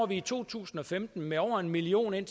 i to tusind og femten med over en million i